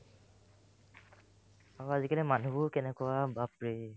অ, আজিকালি মানুহবোৰ কেনেকুৱা বাপৰে ?